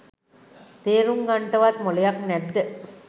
තේරුම් ගන්ටවත් මොලයක් නැත්ද?